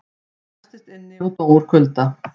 Læstist inni og dó úr kulda